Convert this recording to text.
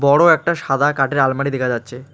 বড় একটা সাদা কাঠের আলমারি দেখা যাচ্ছে।